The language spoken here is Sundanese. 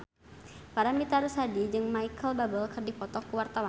Paramitha Rusady jeung Micheal Bubble keur dipoto ku wartawan